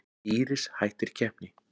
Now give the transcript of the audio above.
Íris hættir keppni